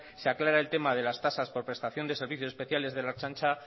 se aclara el tema de las tasas por prestación de servicios especiales de la ertzaintza